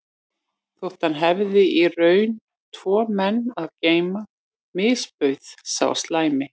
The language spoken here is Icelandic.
Þótt hann hefði í raun tvo menn að geyma misbauð sá slæmi